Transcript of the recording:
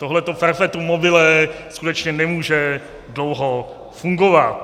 Tohleto perpetuum mobile skutečně nemůže dlouho fungovat.